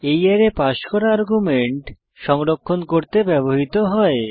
এই array pass করা argument সংরক্ষণ করতে ব্যবহৃত হয়